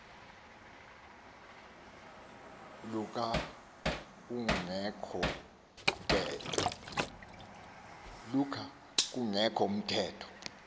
luka kungekho ntetho